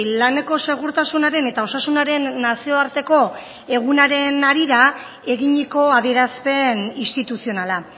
laneko segurtasunaren eta osasunaren nazioarteko egunaren harira eginiko adierazpen instituzionala